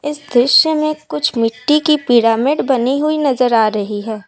इस दृश्य में कुछ मिट्टी की पिरामिड बनी हुई नजर आ रही है।